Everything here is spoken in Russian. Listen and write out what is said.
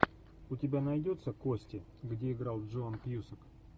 у тебя найдется кости где играл джон кьюсак